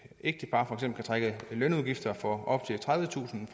ægtepar kan trække lønudgifter fra for op til tredivetusind